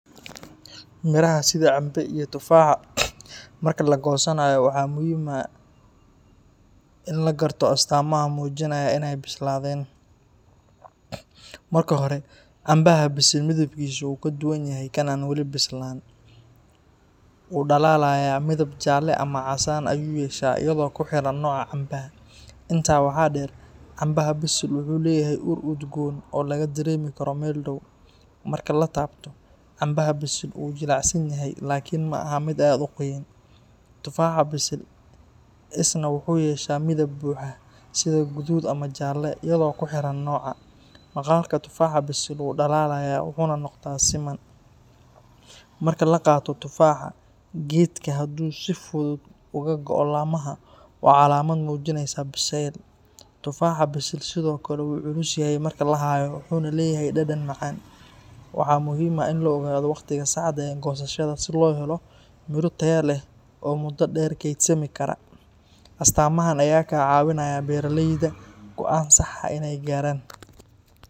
Miraha sida cambe iyo tufaaxa marka la goosanayo waxaa muhiim ah in la garto astaamaha muujinaya in ay bislaadeen. Marka hore, cambaha bisil midabkiisu wuu ka duwan yahay kan aan weli bislaan; wuu dhalaalayaa, midab jaalle ama casaana ayuu yeeshaa iyadoo ku xiran nooca cambaha. Intaa waxaa dheer, cambaha bisil wuxuu leeyahay ur udgoon ah oo laga dareemi karo meel dhow. Marka la taabto, cambaha bisil wuu jilicsan yahay laakiin maaha mid aad u qoyan. Tufaaxa bisil isna wuxuu yeeshaa midab buuxa, sida guduud ama jaalle, iyadoo ku xiran nooca. Maqaarka tufaaxa bisil wuu dhalaalayaa wuxuuna noqdaa siman. Marka la qaato tufaaxa geedka, hadduu si fudud uga go’o laamaha, waa calaamad muujinaysa biseyl. Tufaaxa bisil sidoo kale wuu culus yahay marka la hayo, wuxuuna leeyahay dhadhan macaan. Waxaa muhiim ah in la ogaado waqtiga saxda ah ee goosashada si loo helo miro tayo leh oo muddo dheer keydsami kara. Astaamahan ayaa ka caawinaya beeraleyda go’aan sax ah inay gaaraan.